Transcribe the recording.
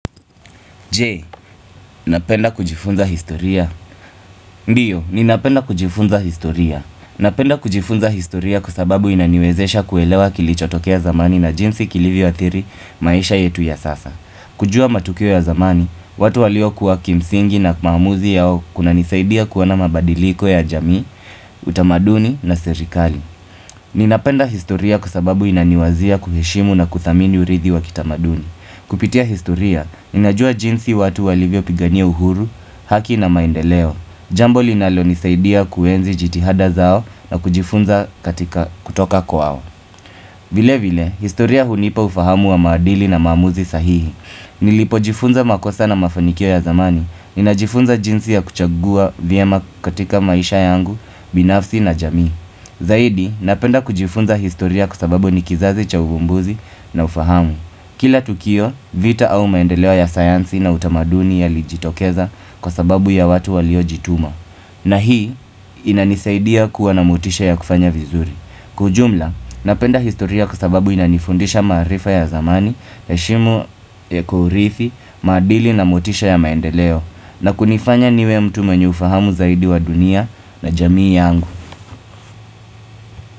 Je, napenda kujifunza historia Ndiyo, ninapenda kujifunza historia Napenda kujifunza historia kwa sababu inaniwezesha kuelewa kilichotokea zamani na jinsi kilivyo athiri maisha yetu ya sasa kujua matukio ya zamani, watu walio kuwa kimsingi na kumamuzi yao kuna nisaidia kuwana mabadiliko ya jamii, utamaduni na serikali Ninapenda historia kusababu inaniwazia kuheshimu na kudhamini urizi wa kitamaduni Kupitia historia, ninajua jinsi watu walivyo pigania uhuru, haki na maendeleo. Jambo linalo nisaidia kuwenzi jitihada zao na kujifunza katika kutoka kwao. Vile vile, historia hunipa ufahamu wa maadili na maamuzi sahihi. Nilipojifunza makosa na mafanikio ya zamani, ninajifunza jinsi ya kuchagua venye katika maisha yangu, binafsi na jamii. Zaidi, napenda kujifunza historia kwa sababu nikizazi cha ubumbuzi na ufahamu. Kila tukio vita au maendeleo ya sayansi na utamaduni ya lijitokeza kwa sababu ya watu waliojituma na hii inanizaidia kuwa na motisha ya kufanya vizuri Kwa ujumla napenda historia kwa sababu inanifundisha maarifa ya zamani heshimu ya kuurithi, maadili na motisha ya maendeleo na kunifanya niwe mtu mwenye ufahamu zaidi wa dunia na jamii yangu.